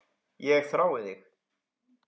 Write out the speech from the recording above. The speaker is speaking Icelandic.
Ég þrái þig